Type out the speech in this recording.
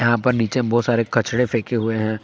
यहां पर नीचे बहुत सारे कचड़े फेंके हुए हैं।